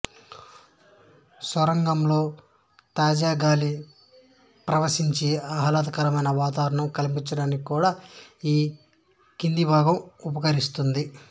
సొరంగంలో తాజాగాలి పసరించి ఆహ్లాదకరమైన వాతావరణం కల్పించటానికి కూడా ఈ కింది భాగం ఉపకరిస్తుంది